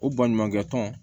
O baɲumankɛ tɔn